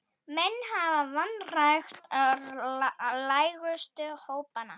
Menn hafa vanrækt lægstu hópana.